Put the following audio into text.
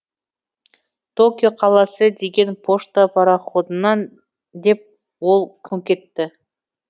токио қаласы деген пошта пароходынан деп ол күңк етті